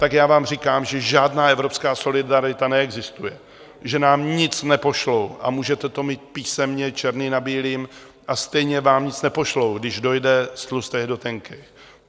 Tak já vám říkám, že žádná evropská solidarita neexistuje, že nám nic nepošlou, a můžete to mít písemně černý na bílým a stejně vám nic nepošlou, když dojde z tlustejch do tenkejch.